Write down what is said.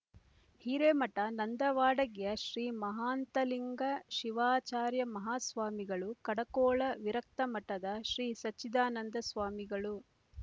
ಹಿರೇಮಠ ನಂದವಾಡಗೆಸ್ ಶ್ರೀ ಮಾಹಾಂತಲಿಂಗ ಶಿವಾಚಾರ್ಯಮಾಹಾಸ್ವಾಮಿಗಳು ಕಡಕೋಳ ವಿರಕ್ತಮಠದ ಶ್ರೀಸಚ್ಚಿದಾನಂದ ಸ್ವಾಮಿಗಳು